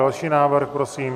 Další návrh, prosím.